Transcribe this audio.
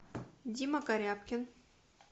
дима корябкин